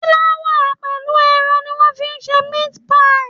Fúláwà pẹ̀lú ẹran ni wọ́n fi ń ṣe meat pie.